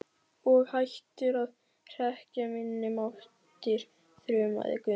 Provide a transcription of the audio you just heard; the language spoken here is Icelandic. Og hættir að hrekkja minni máttar, þrumaði Gunni.